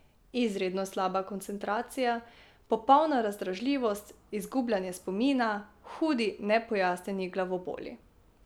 Izredno slaba koncentracija, popolna razdražljivost, izgubljanje spomina, hudi nepojasnjeni glavoboli ...